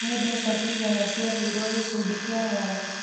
Nĩ mbeca cigana ciaheirwo gĩkundi kĩa mwanya?